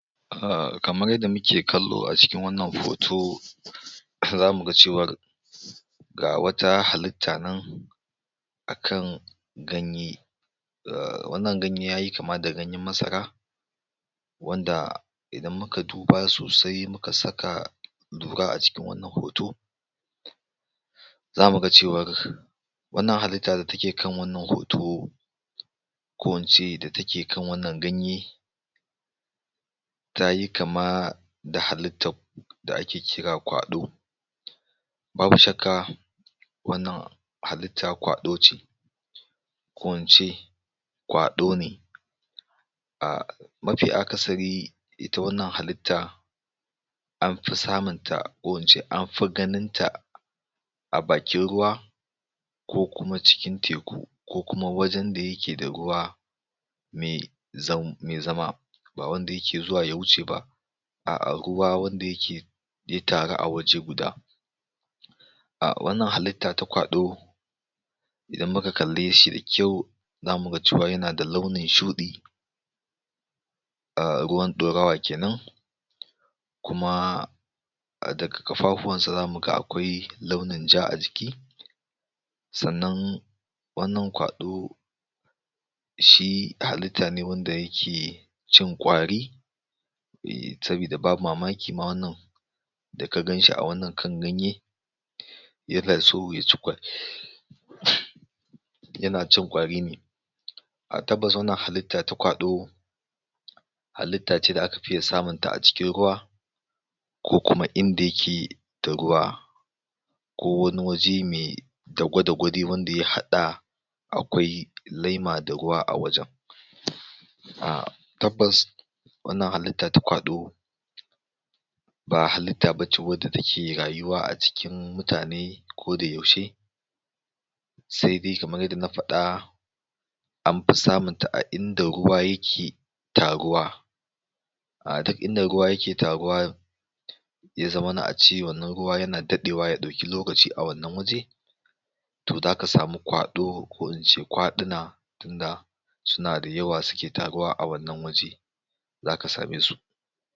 Ah kamar yadda muke kallo a cikin wannan hoto, za mu ga cewar, ga wata halitta nan akan ganye, ahhh wannan ganye yayi kama da ganyen masara, wanda, idan muka duba sosai muka saka lura a cikin wannan hoto, za mu ga cewar, wannan halitta da take kan wannan hoto, ko incer da take kan wannan ganye, tayi kama, da haliitad da ake kira kwalo. Babu shakka, wannan halitt kwaloce ko ince kwalo ne. Ahh mafi akasari ita wannan halitta, an fi samunta, ko ince anfi ganinta, a bakin ruwa, ko kuma cikin teku ko wajen da yake da ruwa me zama, ba wanda yake zuwa ya huce ba, a'a ruwa wanda yake tare a wuri guda. A wannan halitta ta kwalo, idan muka kalle shi da kyau, za mu ga cewa yana da launin shuɗi, ahh ruwan ɗorawa kenan, kuma, daga ƙafafuwansa za mu ga akwai launin ja a ciki. Sannan wannan kwalo, shi halitta ne wanda yake, cin ƙwari, sabida ba mamaki ma wannan da ka ganshia kan wannan ganye, yana so ya ci ƙwari ne yana cin ƙwari ne, A tabbas wannan halitta ta kwalo, halitta ce da akafiye samun ta acikin ruwa, ko kuma uinda yake da ruwa, ko wani waje me dagudagu dai wanda ya haɗa akwai laima da ruwa a wajen. Ahh tabbas, wannan halitta da Kwalo, ba halitta bace wadda take rayuwa a cikin mutane ko da yaushe, sai dai kamar yadda na faɗa, an fi samunta a inda ruwa yake taruwa, a ta inda ruwa yake taruwa ya zamana ace wannan ruwa yana daɗewa ya ɗauki ruwa a wannan waje, to za ka sami kwalo ko in kwaluna da suna da yawa suke taruwa a wannan waje, zaka same su.